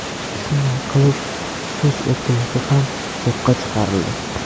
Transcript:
Shunday qilib, so‘z erkinligi ham yo‘qqa chiqarildi.